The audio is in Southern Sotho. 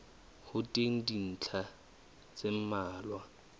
ho teng dintlha tse mmalwa